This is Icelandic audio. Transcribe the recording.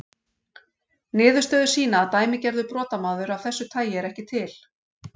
Niðurstöður sýna að dæmigerður brotamaður af þessu tagi er ekki til.